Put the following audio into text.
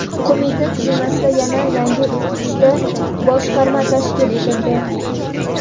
qo‘mita tuzilmasida yana yangi uchta boshqarma tashkil etildi.